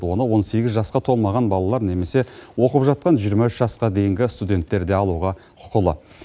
оны он сегіз жасқа толмаған балалар немесе оқып жатқан жиырма үш жасқа дейінгі студенттер де алуға құқылы